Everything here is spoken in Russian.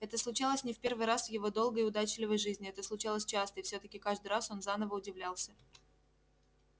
это случалось не в первый раз в его долгой и удачливой жизни это случалось часто и всё-таки каждый раз он заново удивлялся